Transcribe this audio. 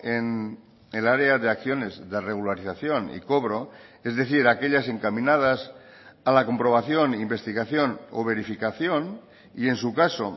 en el área de acciones de regularización y cobro es decir aquellas encaminadas a la comprobación e investigación o verificación y en su caso